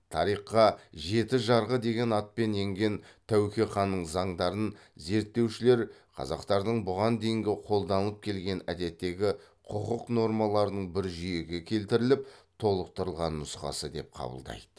тарихқа жеті жарғы деген атпен енген тәуке ханның заңдарын зерттеушілер қазақтардың бұған дейінгі қолданылып келген әдеттегі құқық нормаларының бір жүйеге келтіріліп толықтырылған нұсқасы деп қабылдайды